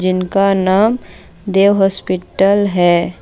जीनका नाम देव हॉस्पिटल है।